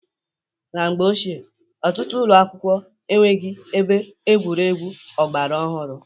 Na mgbe ochie, ọtụtụ ụlọakwụkwọ enweghị ebe egwuregwu ọgbara ọhụrụ.